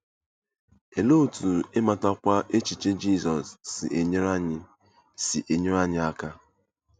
Olee otú ịmatakwu echiche Jizọs si enyere anyị si enyere anyị aka?